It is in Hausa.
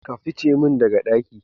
ka fice min daga ɗaki.